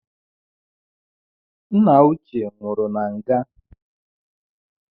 Nna uche nwụru na nga